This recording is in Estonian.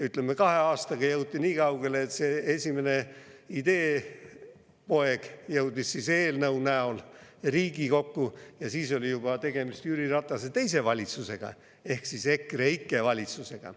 Ütleme, kahe aastaga jõuti nii kaugele, et see esimene ideepoeg jõudis eelnõu näol Riigikokku, ja siis oli juba tegemist Jüri Ratase teise valitsusega ehk EKREIKE valitsusega.